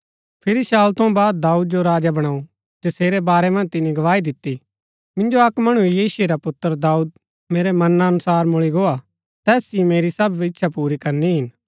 फिरी शाऊल थऊँ बाद दाऊद जो राजा बणाऊ जसेरै बारै मन्ज तिनी गवाही दिती मिन्जो अक्क मणु यिशै रा पुत्र दाऊद मेरै मना अनुसार मुळी गो हा तैस ही मेरी सब इच्छा पुरी करनी हिन